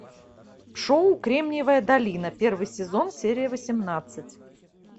шоу кремниевая долина первый сезон серия восемнадцать